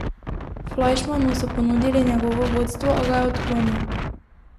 Flajšmanu so ponudili njegovo vodstvo, a ga je odklonil.